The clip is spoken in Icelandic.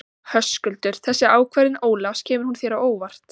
Höskuldur: Þessi ákvörðun Ólafs, kemur hún þér á óvart?